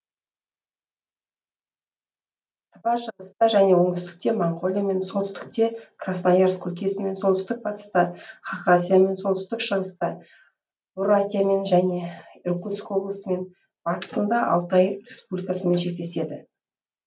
тыва шығыста және оңтүстікте моңғолиямен солтүстікте красноярск өлкесімен солтүстік батыста хақасиямен солтүстік шығыста бурятиямен және иркутск облысымен батысында алтай республикасымен шектеседі